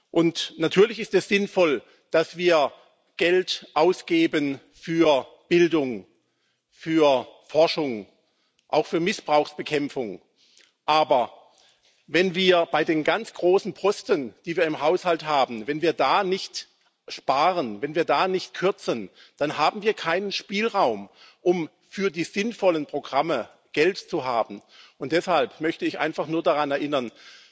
Und natürlich ist es sinnvoll, dass wir Geld ausgeben für Bildung, für Forschung, auch für Missbrauchsbekämpfung, aber wenn wir bei den ganz großen Posten, die wir im Haushalt haben, nicht sparen, wenn wir da nicht kürzen, dann haben wir keinen Spielraum, um für die sinnvollen Programme Geld zu haben. Deshalb möchte ich einfach nur daran erinnern